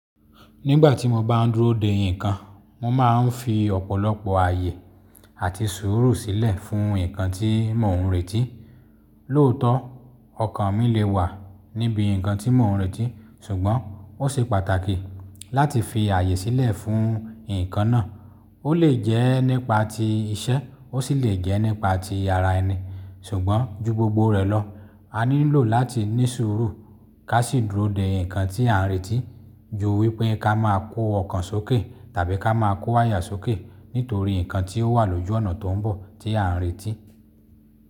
Nígbà tí mo bá ń dúró de ǹkan, mo máa ń fi ọ̀pọ̀lọpọ̀ àyè àti sùúrù sílẹ̀ fún ǹkan tí mò ń retí. Lóòótọ́ ọkàn mi lè wà níbi ǹkan tí mò ń retí, ṣùgbọ́n ó ṣe pàtàkì láti fi àyè sílẹ̀ fún ǹkan náà. Ó lè jẹ́ nípa ti iṣẹ́, ó sì lè jẹ́ nípa ti ara ẹni. Ṣùgbọ́n ju gbogbo rẹ̀ lọ, a ní lò láti ní sùúrù ká sì dúró de ǹkan tí à ń retí ju wípé ká má a kó ọkàn sókè tàbí ká má a kó áyà sókè nítorí ǹkan tí ó wà lójú ọ̀nà tó ń bọ̀ tí à ń retí.